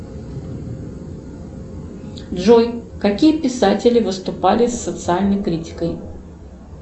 джой какие писатели выступали с социальной критикой